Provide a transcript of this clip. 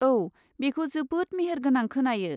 औ, बेखौ जोबोद मेहेरगोनां खोनायो!